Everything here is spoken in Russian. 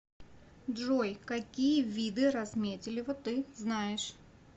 джой какие виды разметелево ты знаешь